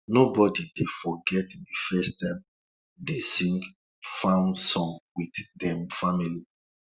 nobody dey forget de first time dey sing farm song with dem family